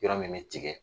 Yɔrɔ min bɛ tigɛ